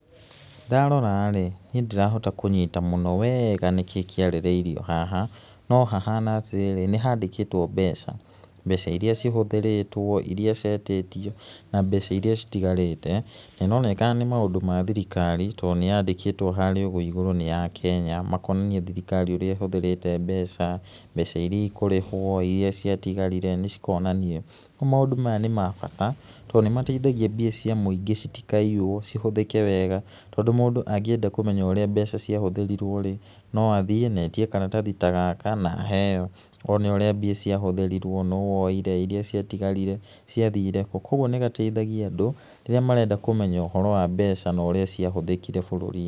Ndarora-rĩ niĩ ndirahota kũnyĩta mũno wega nĩkĩĩ kĩarĩrĩirio haha no hahana atĩ rĩrĩ nihandĩkĩtwo mbeca, mbeca iria cihũthĩrĩtwo iria ciĩtitio na mbeca iria citigarĩte nĩ ĩronekana nĩ maũndũ mathirikari to nĩyandĩkĩtwo harĩa ũguo igũrũ nĩ ya Kenya, makonania thirikari ũrĩa ĩhũthĩrĩte mbeca ,mbeca iria ikũrĩhwo iria ciatigarĩre , nĩcikuonanio ũguo maũndũ maya nĩ ma bata tondũ nĩmateithagia mbia cia mũingĩ citikaiywo cihũthĩke wega tondũ mũndũ angĩenda kũmenya ũrĩa mbeca ciahũthĩirwo rĩ no athĩe na etĩe karatathi ta gaka na aheo one ũrĩa mbia ciahũthĩrirwo, nũũ woire ,iria ciatigarire , cĩa thire kũũ kwa ũguo nĩgateithagia andũ rĩrĩa marenda kũmenya ũhoro wa mbeca na ũrĩa ciahũthĩkire bũruri-inĩ.